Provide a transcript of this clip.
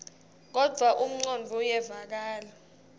kodvwa umcondvo uyevakala